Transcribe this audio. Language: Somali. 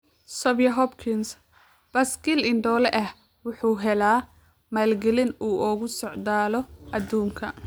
Xavier Hopkins: Baaskiil indhoole ah wuxuu helaa maalgelin uu ugu socdaalo aduunka